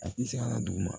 A ti se ka na duguma